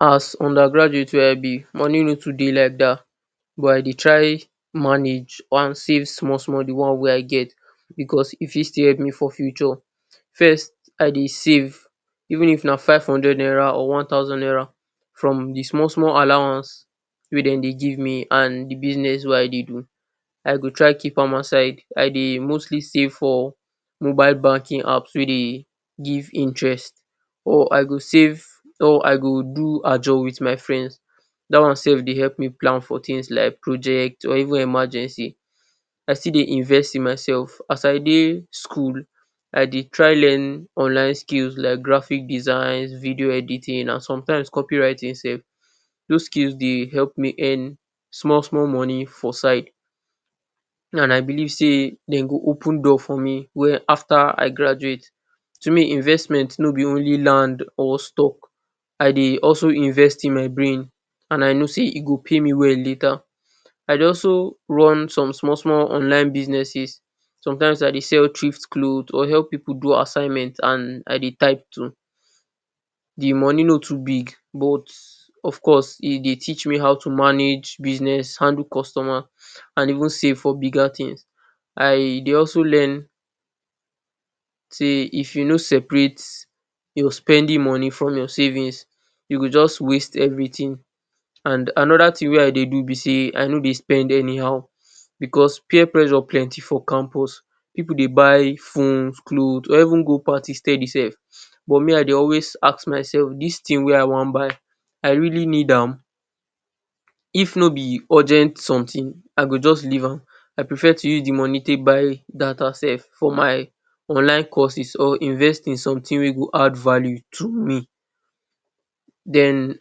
As undergraduate wey I be, money no too dey like that, but I dey try manage wan save small-small the one wey I get because e fit still help me for future. First, I dey save. Even if na five hundred naira or one thousand naira from the small-small allowance wey dem dey give me and the business wey I dey do. I go try keep am aside. I dey mostly save for mobile banking apps wey dey give interest or I go save or I go do Ajo with my friends. That one sef dey help me plan things like project or even emergency. I still dey invest in myself. As I dey school, I dey try learn online skills like graphic design, video editing and sometimes, copywriting sef. Those skills dey help me earn small-small money for side. Now I believe sey de go open door for me after I graduate. To me, investment no be only land or stock, I dey also invest in my brain and I know sey go pay me well later. I dey also run some small-small online businesses. Sometimes I dey sell thrift cloths or help pipu do assignment and I dey type too. The money no too big, but of course, e dey teach me how to manage business, handle customer and even save for bigger things. I dey also learn sey if you no separate your spending money from your savings, you go just waste everything. And another thing wey I dey do be sey, I no dey spend anyhow because peer pressure plenty for campus. Pipu dey buy phones, cloths or even go party steady sef. But me I dey always ask myself this thing wey I wan buy I really need am? If no be urgent something, I go just leave am. I prefer to use the money take buy data sef for my online courses or invest in something wey go add value to me. Then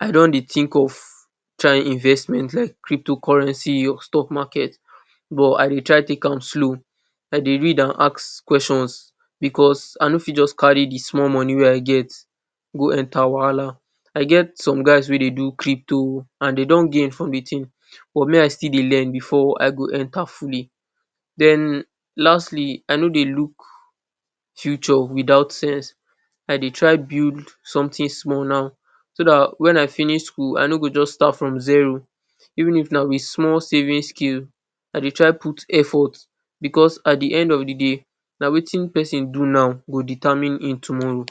I don dey think of try investment like cryptocurrency or stock market, but I dey try take am slow. I dey read and ask questions because I no fit just carry the small money wey I get go enter wahala. I get some guys wey dey do crypto and de don gain from the thing, but me I still dey learn before I go enter fully. Then, lastly, I no dey look future without sense. I dey try build something one now, so that when I finish school I no go just start from zero. Even if na with small saving skill, I dey try put effort because at the end of the day, na wetin pesin do now go determine im tomorrow.